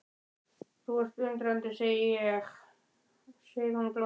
Þú ert undrandi sé ég, segir hún glottandi.